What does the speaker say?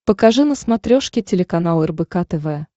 покажи на смотрешке телеканал рбк тв